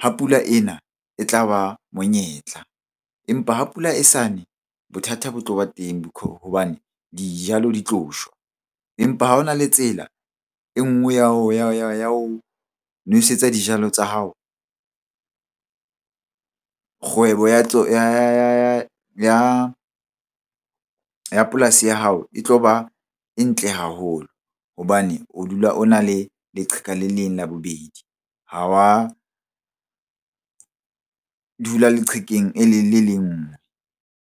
ha pula ena e tla ba monyetla. Empa ha pula e sa ne, bothata bo tlo ba teng hobane dijalo di tlo shwa, empa ha o na le tsela e nngwe ya ho nwesetsa dijalo tsa hao. Kgwebo ya temo ya polasi ya hao e tlo ba e ntle haholo hobane o dula o na le leqheka le leng la bobedi. Ha wa dula leqhekeng le nngwe.